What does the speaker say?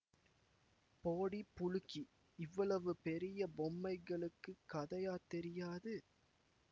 போடி புளுக்கி இவ்வளவு பெரிய பொம்மைகளுக்குக் கதையா தெரியாது